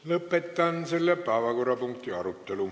Lõpetan selle päevakorrapunkti arutelu.